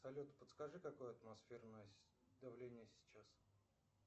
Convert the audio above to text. салют подскажи какое атмосферное давление сейчас